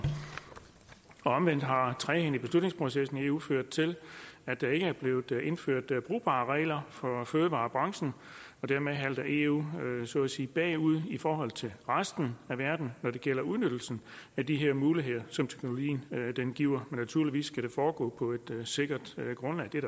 omvendt har trægheden i beslutningsprocessen i eu ført til at der ikke er blevet indført brugbare regler for fødevarebranchen og dermed halter eu så at sige bagud i forhold til resten af verden når det gælder udnyttelsen af de her muligheder som teknologien giver men naturligvis skal det foregå på et sikkert grundlag det er